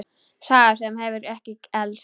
Saga sem hefur ekki elst.